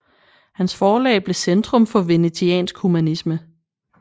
Hans forlag blev centrum for venetiansk humanisme